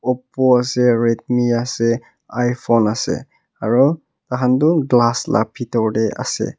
oppo ase redmi ase iphone ase aru takha tu glass la pitor teh ase.